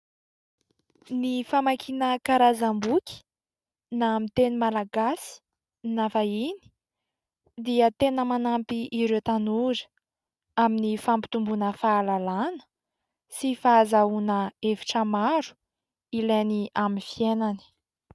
Ny famakiana karazam-boky na amin'ny teny malagasy na vahiny dia tena manampy ireo tanora amin'ny fampitomboana fahalalana sy fahazahoana hevitra maro ilainy amin'ny fiainany.